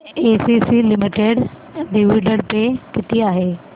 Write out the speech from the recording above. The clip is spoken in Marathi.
एसीसी लिमिटेड डिविडंड पे किती आहे